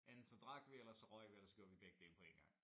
Enten så drak vi ellers så røg vi ellers så gjorde vi begge dele på én gang